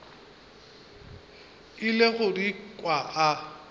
ile go di kwa a